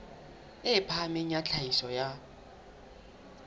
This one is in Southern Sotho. e phahameng ya tlhahiso ya